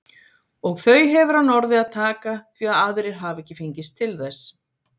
Og þau hefur hann orðið að taka því að aðrir hafa ekki fengist til þess.